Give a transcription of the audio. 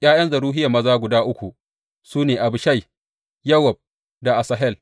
’Ya’yan Zeruhiya maza guda uku su ne Abishai, Yowab da Asahel.